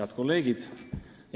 Head kolleegid!